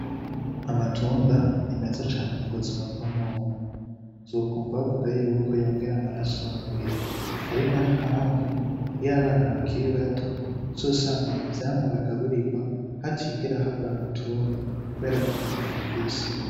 Amatunda ni meza cane kubuzima bw'umuntu uzokwumva bavuga yuko yongera amaraso mumubiri ari nayo mpamvu abana bakiri bato uzosanga muvyamwa bagaburigwa hatigera habura amatunda kubera kukamaro ifise.